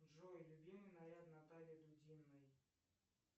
джой любимый наряд натальи дудиной